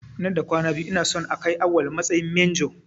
Nan da kwana biyu ina son a kai Awwal matsayin manjo.